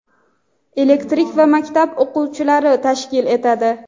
elektrik va maktab o‘qituvchilari tashkil etadi.